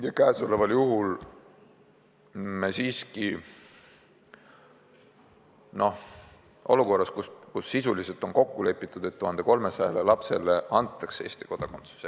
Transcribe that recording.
Ja praegu me siiski oleme olukorras, kus sisuliselt on kokku lepitud, et 1300 lapsele antakse Eesti kodakondsus.